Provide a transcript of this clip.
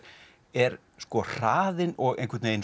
er sko hraðinn og